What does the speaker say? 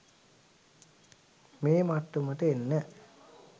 මේ මට්ටමට එන්න